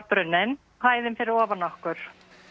brunnin hæðin fyrir ofan okkur